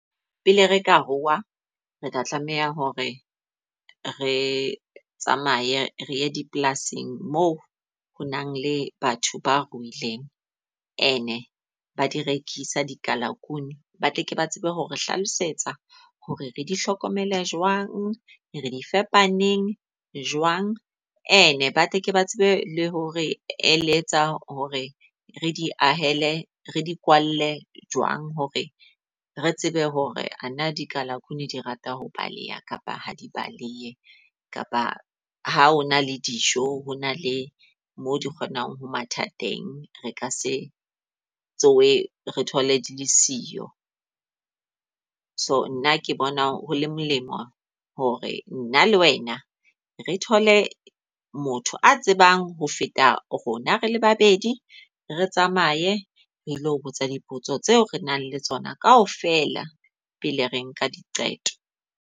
Pele re ka ruuwa re tla tlameha hore re tsamaye re ye dipolasing mo ho nang le batho ba ruileng and ba di rekisa di kalakunou. Ba tle ke ba tsebe hore hlalosetsa hore re di hlokomele jwang, re di faepa neng, jwang, and ba tle ke ba tsebe le hore e le etsa hore re di ahele, re di kwalle jwang. Hore re tsebe hore ana di kalakunou di rata ho baleha kapa ha di balehe. Kapa ha hona le dijo ho na le mo di kgonang ho mathateng, re ka se tshohe re thole di le siyo. So, nna ke bona ho le molemo hore nna le wena re thole motho a tsebang ho feta rona rele babedi, re tsamaye re le ho botsa dipotso tseo re nang le tsona kaofela pele re nka diqeto.